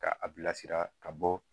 Ka a bilasira ka bɔ